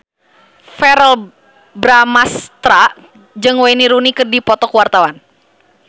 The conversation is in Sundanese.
Verrell Bramastra jeung Wayne Rooney keur dipoto ku wartawan